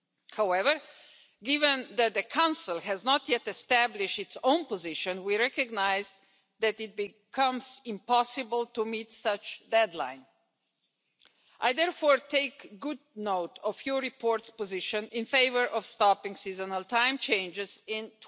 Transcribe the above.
However, given that the Council has not yet established its own position, we recognise that it becomes impossible to meet such a deadline. I therefore take good note of your report's position in favour of stopping seasonal time changes in